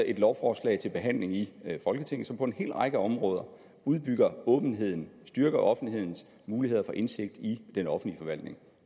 et lovforslag til behandling i folketinget som på en række områder udbygger åbenheden styrker offentlighedens muligheder for indsigt i den offentlige forvaltning